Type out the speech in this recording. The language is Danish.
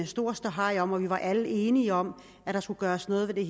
stor ståhej om og vi var alle enige om at der skulle gøres noget ved